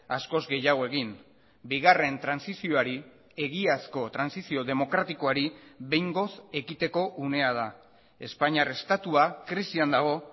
askoz gehiago egin bigarren trantsizioari egiazko trantsizio demokratikoari behingoz ekiteko unea da espainiar estatua krisian dago